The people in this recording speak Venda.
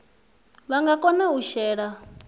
vha nga kona u shela